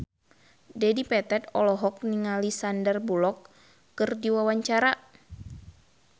Dedi Petet olohok ningali Sandar Bullock keur diwawancara